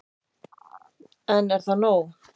En er það nóg